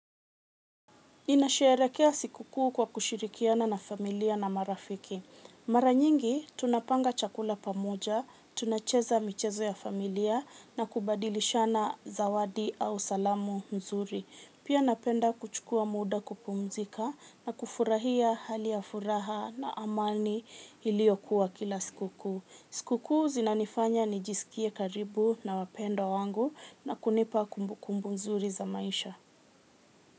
Ninasherekea sikuku kwa kushirikiana na familia na marafiki. Mara nyingi tunapanga chakula pamoja, tunacheza michezo ya familia na kubadilishana zawadi au salamu mzuri. Pia napenda kuchukua muda kupumzika na kufurahia hali ya furaha na amani iliokuwa kila sikuku. Sikuku zinanifanya nijisikie karibu na wapendo wangu na kunipa kumbukumbu mzuri za maisha.